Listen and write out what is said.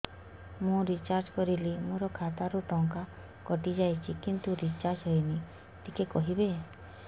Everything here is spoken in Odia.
ମୁ ରିଚାର୍ଜ କରିଲି ମୋର ଖାତା ରୁ ଟଙ୍କା କଟି ଯାଇଛି କିନ୍ତୁ ରିଚାର୍ଜ ହେଇନି ଟିକେ କହିବେ